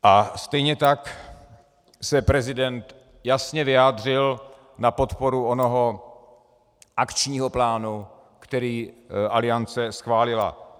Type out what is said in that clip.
A stejně tak se prezident jasně vyjádřil na podporu onoho akčního plánu, který Aliance schválila.